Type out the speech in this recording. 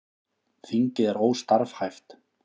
Þingið er óstarfhæft